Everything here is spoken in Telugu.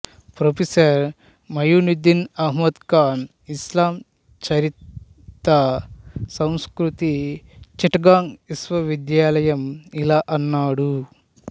ప్రొఫెసర్ ముయునిద్దీన్ అహ్మద్ ఖాన్ ఇస్లాం చరిత్ర సంస్కృతి చిట్టగాంగ్ విశ్వవిద్యాలయం ఇలా అన్నాడు